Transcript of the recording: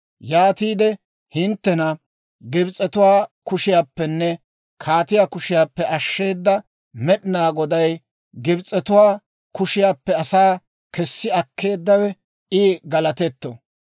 Yaatiide «Hinttena Gibs'etuwaa kushiyaappenne kaatiyaa kushiyaappe ashsheeda Med'inaa Goday, Gibs'etuwaa kushiyaappe asaa kessi akkeeddawe, I galattetto.